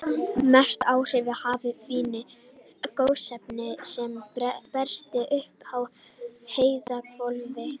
Mest áhrif hafa fín gosefni sem berast upp í heiðhvolfið.